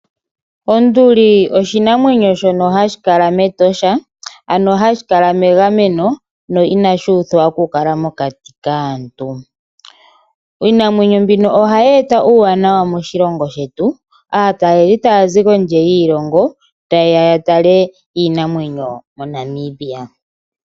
Onduli oshinamwenyo shono hashi kala mEtosha ano hashi kala megameno no inashi uthwa oku kala mokati kaantu. Iinamwenyo mbino ohayi eta uuwanawa moshilongo shetu aatalelipo taya zi kondje yiilongo ta yeya ya tale iinamwenyo mo Namibia.